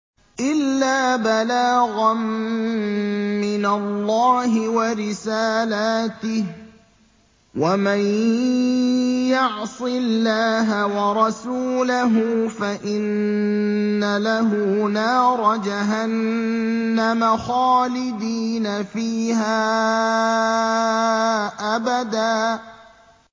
إِلَّا بَلَاغًا مِّنَ اللَّهِ وَرِسَالَاتِهِ ۚ وَمَن يَعْصِ اللَّهَ وَرَسُولَهُ فَإِنَّ لَهُ نَارَ جَهَنَّمَ خَالِدِينَ فِيهَا أَبَدًا